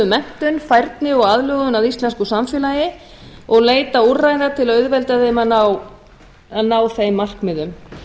menntun og færni og aðlögun að íslensku samfélagi og leita úrræða til að auðvelda þeim að ná þeim markmiðum